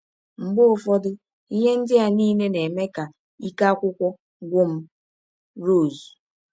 Mgbe ụfọdụ, ihe ndị a niile na - eme ka ike akwụkwọ gwụ m. ”— Rọse.